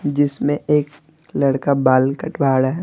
जिसमें एक लड़का बाल कटवा ड़ा है।